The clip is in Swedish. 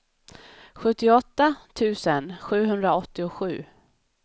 sjuttioåtta tusen sjuhundraåttiosju